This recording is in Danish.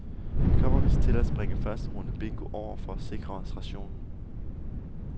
Vi kommer vist til at springe første runde bingo over for at sikre os rationen.